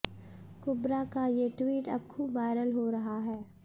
कुब्रा का ये ट्वीट अब खूब वायरल हो रहा है